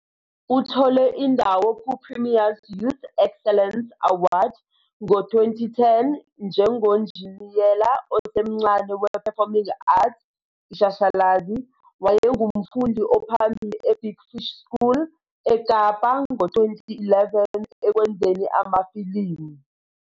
Uthole indawo ku-Premiers Youth Excellence Award ngo-2010 njengonjiniyela osemncane we-Performing Arts, Ishashalazi, wayengumfundi ophambili e-Big Fish School eKapa ngo-2011 ekwenzeni amafilimu.